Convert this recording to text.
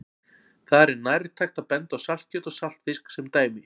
Þar er nærtækt að benda á saltkjöt og saltfisk sem dæmi.